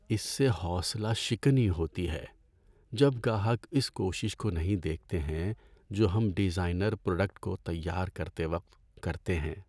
اس سے حوصلہ شکنی ہوتی ہے جب گاہک اس کوشش کو نہیں دیکھتے ہیں جو ہم ڈیزائنرز پروڈکٹ کو تیار کرتے وقت کرتے ہیں۔